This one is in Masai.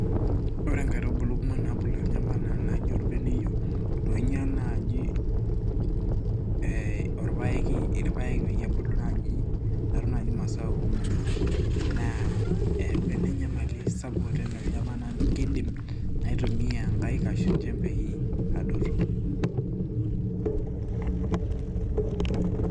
Ore nkaitubulu nabulunye anaa orbeneyio naaji eeh orpaeki irpaek peebuli naaji anaa masaa kumok, naa eyaua ena enyamali sapuk kiidim naitumia nkaik arashu njembei adotunye.